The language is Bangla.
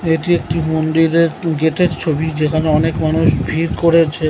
এটি একটি মন্দিরের গেট -এর ছবি যেখানে অনেক মানুষ ভিড় করেছে।